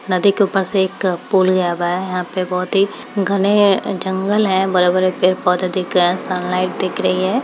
नदी के ऊपर से एक पुल गया हुआ है। यहा पे बहोत ही घने जंगल हैं। बड़े-बड़े पेड़-पौधे दिख रहे हैं। सन्लाइट दिख रही है।